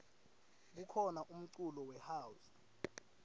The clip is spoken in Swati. kukhona umculo we house